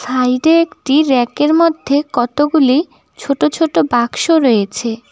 সাইডে একটি র্যাকের মধ্যে কতগুলি ছোট ছোট বাক্স রয়েছে।